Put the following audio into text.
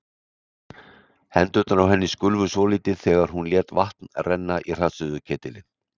Hendurnar á henni skulfu svolítið þegar hún lét vatn renna í hraðsuðuketilinn.